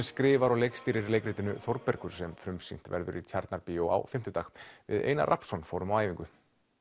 skrifar og leikstýrir leikritinu Þórbergur sem frumsýnt verður í Tjarnarbíó á fimmtudag við Einar Rafnsson fórum á æfingu